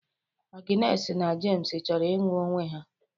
Agnes and Jems chọrọ ịnụ onwe ha.